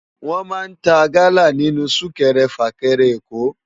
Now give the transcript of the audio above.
Wòn má n tá gala ninú súkèrè fákèrè Èkó